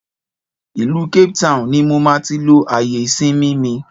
Ìlú Cape Town ni mo máa tí lo àyè ìsinmi mi